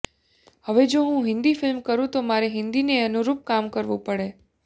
હવે જો હું હિન્દી ફિલ્મ કરું તો મારે હિન્દીને અનુરૂપ કામ કરવું પડે